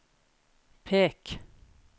pek